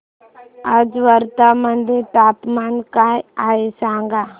आज वर्धा मध्ये तापमान काय आहे सांगा